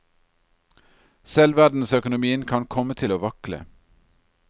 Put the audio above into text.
Selv verdensøkonomien kan komme til å vakle.